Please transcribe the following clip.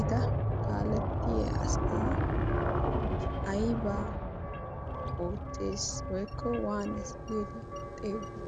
eta kaalettiya asaa aibaa oottees woikko waanes giidi xeegiyo?